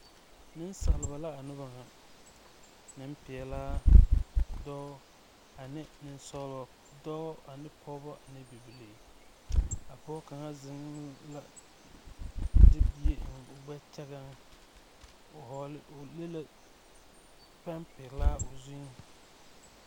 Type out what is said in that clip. Nensaalba la a noba ŋa nempelaa dɔɔ ane nensɔgle dɔɔ ane bibilii a pɔge kaŋa zeŋ la de bie eŋ o gbɛɛŋ o leŋ la pɛnpelaa o zuŋ.